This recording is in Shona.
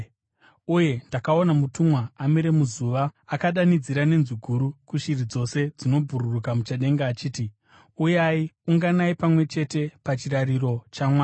Uye ndakaona mutumwa amire muzuva, akadanidzira nenzwi guru kushiri dzose dzinobhururuka muchadenga achiti, “Uyai, unganai pamwe chete pachirariro chaMwari,